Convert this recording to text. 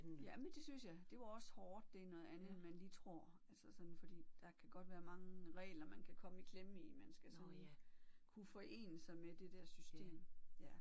Jamen det synes jeg det var også hårdt det er noget andet end man lige tror altså sådan fordi der kan godt være mange regler man kan komme i klemme i man skal sådan kunne forene sig med det der system ja